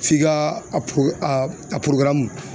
F'i ka a